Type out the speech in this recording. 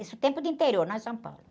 Isso o tempo do interior, não é São Paulo.